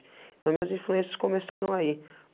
Então, as minhas influências começaram aí.